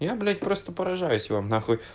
я блять просто поражаюсь вам нахуй